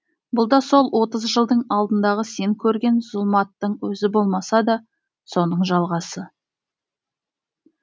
бұл да сол отыз жылдың алдындағы сен көрген зұлматтың өзі болмаса да соның жалғасы